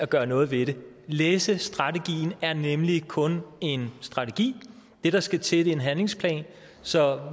gøre noget ved det læsestrategien er nemlig kun en strategi det der skal til er en handlingsplan så